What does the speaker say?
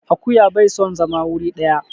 Akuya bai son zama wuri ɗaya.